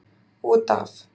Út af